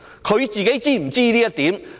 她自己是否知悉這一點？